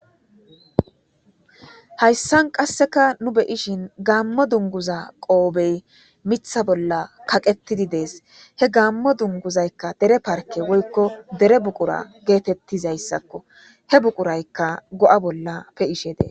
hayssan qasseka nu be7ishin gaammo dunguza qoobey mitha bolla kaqetidi dees he gammo dunguzaykka dere parke woykko dere buqura geetettizayssakko he buquraykka go7a bolla pe7ishe dee